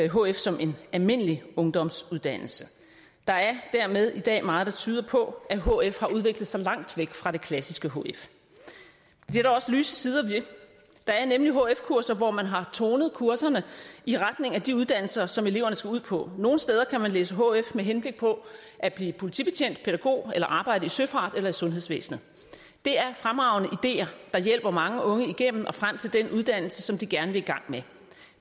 hf som en almindelig ungdomsuddannelse der er dermed i dag meget der tyder på at hf har udviklet sig langt væk fra det klassiske hf det er der også lyse sider ved der er nemlig hf kurser hvor man har tonet kurserne i retning af de uddannelser som eleverne skal ud på nogle steder kan man læse hf med henblik på at blive politibetjent pædagog eller arbejde i søfarts eller sundhedsvæsenet det er fremragende ideer der hjælper mange unge igennem og frem til den uddannelse som de gerne vil i gang med